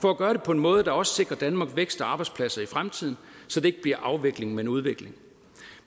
for at gøre det på en måde der også sikrer danmark vækst og arbejdspladser i fremtiden så det ikke bliver afvikling men udvikling